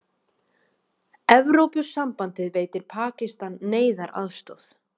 Evrópusambandið veitir Pakistan neyðaraðstoð